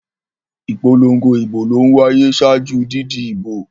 Ìpolongo ìbò ló ń wáyé ṣáájú didi ìbo.